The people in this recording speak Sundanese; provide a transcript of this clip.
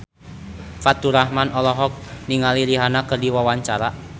Faturrahman olohok ningali Rihanna keur diwawancara